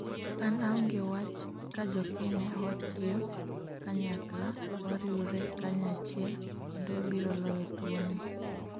an aonge wach ka jokenya watiyo kanyakla, wariwre kanyachiel, kendo wabiro loyo tuwo ni